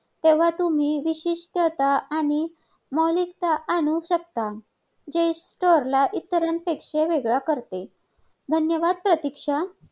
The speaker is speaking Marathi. आ रोजगार मिळवणारी जी मुलांची संख्या कमी आहेत .आज भारता भारतापेक्षा चीन मध्ये तरुणांची संख्या कमी आहे. आणि